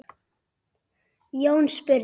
Jón spurði